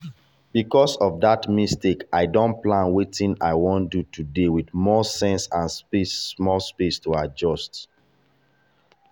because of that mistake i don plan wetin i wan do today with more sense and small space to adjust.